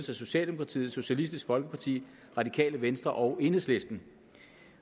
jeg socialdemokratiet socialistisk folkeparti radikale venstre og enhedslisten